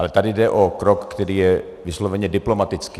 Ale tady jde o krok, který je vysloveně diplomatický.